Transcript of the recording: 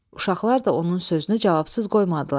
Uşaqlar da onun sözünü cavabsız qoymadılar.